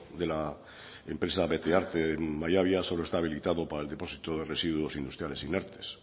de la empresa betearte en mallabia solo está habilitado para el depósito de residuos industriales inertes